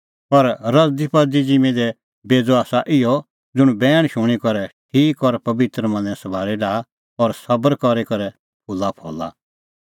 पर रज़दीपज़दी ज़िम्मीं दी बेज़अ आसा इहअ ज़ुंण बैण शूणीं करै ठीक और पबित्र मनें सभाल़ी डाहा और सबर करी करै फूलाफल़ा